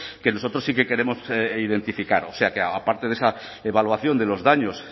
que nosotros sí que queremos identificar o sea que aparte de esa evaluación de los daños